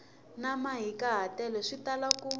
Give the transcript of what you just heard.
na mahikahatelo swi tala ku